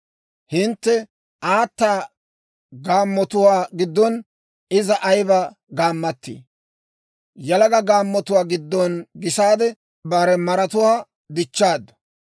«Hintte aata gaammotuwaa giddon, iza ayiba gaammatii! Yalaga gaammotuwaa giddon gisaade, bare maratuwaa dichchaaddu.